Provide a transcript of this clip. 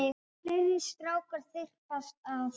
Fleiri strákar þyrpast að.